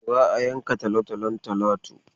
Za a yanka talotalon Talatu.